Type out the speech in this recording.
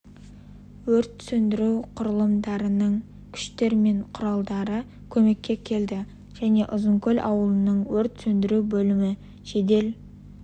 өрт сөндіру құрылымдарының күштер мен құралдары көмекке келді және ұзынкөл ауылының өрт сөндіру бөлімі жедел